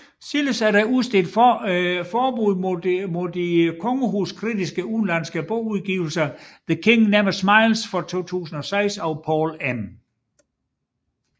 Senest er der udstedt forbud mod de kongehus kritiske udenlandske bogudgivelser The King Never Smiles fra 2006 af Paul M